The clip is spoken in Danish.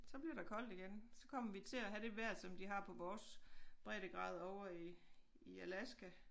Så bliver der koldt igen så kommer vi til at have det vejr som de har på vores breddegrad over i i Alaska